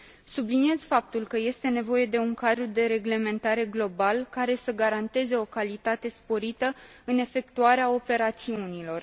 Subliniez faptul că este nevoie de un cadru de reglementare global, care să garanteze o calitate sporită în efectuarea operațiunilor.